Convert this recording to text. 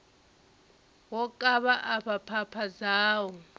wo kavha afha phapha dzau